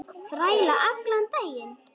Þræla allan daginn!